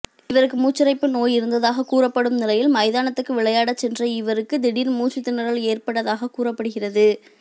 இவருக்கு மூச்சிரைப்பு நோய் இருந்ததாகக் கூறப்படும் நிலையில் மைதானத்துக்கு விளையாடச் சென்ற இவருக்கு திடீர் மூச்சுத் திணறல் ஏற்பட்டதாகக் கூறப்படுகிறது